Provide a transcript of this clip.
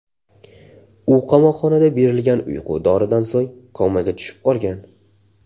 U qamoqxonada berilgan uyqu doridan so‘ng komaga tushib qolgan.